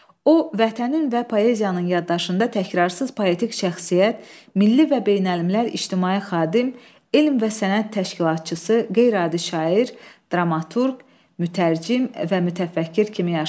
O, vətənin və poeziyanın yaddaşında təkrarssız poetik şəxsiyyət, milli və beynəlmiləl ictimai xadim, elm və sənət təşkilatçısı, qeyri-adi şair, dramaturq, mütərcim və mütəfəkkir kimi yaşayır.